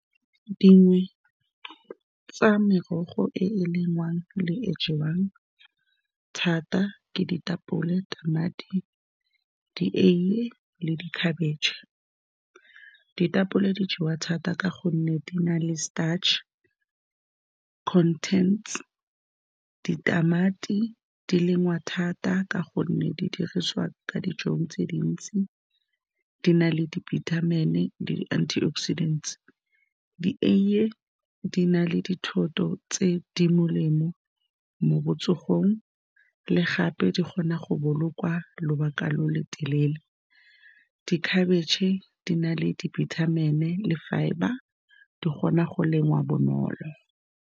Dingwe tsa merogo e e lengwang le e e jewang thata ke ditapole, tamati, di eie le di khabetšhe. Ditapole di jewa thata ka gonne di na le starch contents-e. Ditamati di lengwa thata ka gonne di dirisiwa ka dijong tse dintsi, di na le di-vitamin-i le di-antioxidant-e. Di eie di na le dithoto tse di molemo mo botsogong, gape di kgona go bolokwa lobaka lo lo telele. Di khabetšhe di na le di-vitamin-i le fibre, di kgona go lengwa bonolo.